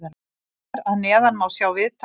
Hér að neðan má sjá viðtal við Sölva.